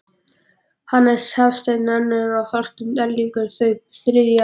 Hannes Hafstein önnur og Þorsteinn Erlingsson þau þriðju.